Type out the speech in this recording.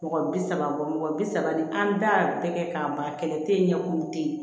Mɔgɔ bi saba bɔ mɔgɔ bi saba ni an da kɛ k'a ban kɛlɛ te yen ɲɛkulu te yen